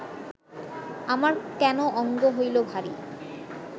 আমার কেন অঙ্গ হৈল ভারি